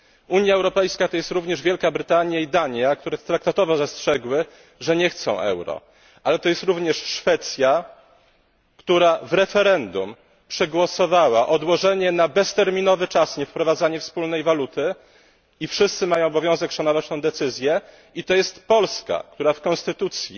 Unia Europejska to jest również Wielka Brytania i Dania, które traktatowo zastrzegły, że nie chcą euro, to jest Szwecja, która w referendum przegłosowała odłożenie bezterminowo wprowadzenie wspólnej waluty, i wszyscy mają obowiązek szanować tę decyzję, i to jest Polska, która w konstytucji